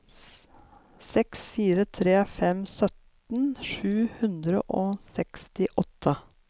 seks fire tre fem sytten sju hundre og sekstiåtte